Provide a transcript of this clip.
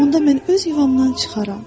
Onda mən öz yuvamdan çıxaram.